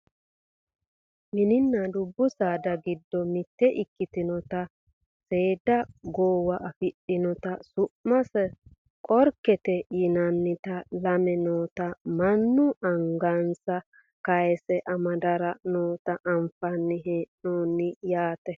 mininna dubbu saada giddo mitte ikkitinota seeda goowa afidhinota su'mase qorkete yinannita lame noota mannu angansa kayiise amadara noota anfanni hee'noonni yaate